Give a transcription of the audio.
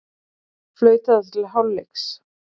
Flautað til hálfleiks